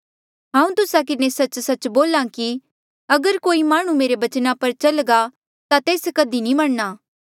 हांऊँ तुस्सा किन्हें सच्च सच्च बोल्हा कि अगर कोई माह्णुं मेरे बचना पर चल्घा ता तेस कधी नी मरणा